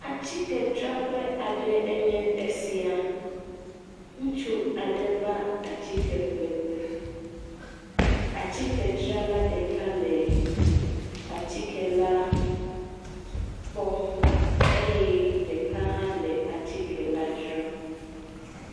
Ame aɖewo va nu ƒle ʋe le fiase me si nye atikedzraƒe. Ame siwo le nuadzram la le awu hi me, nuƒlela la hã le awu hi do abɔlegbe trɔza yibɔ.